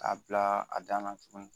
K'a bila a dan na tuguni